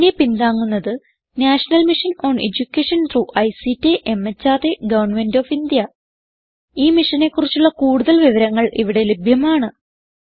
ഇതിനെ പിന്താങ്ങുന്നത് national mission on education through ICT മെഹർദ് ഗവന്മെന്റ് ഓഫ് ഇന്ത്യ ഈ മിഷനെ കുറിച്ചുള്ള കുടുതൽ വിവരങ്ങൾ ഇവിടെ ലഭ്യമാണ്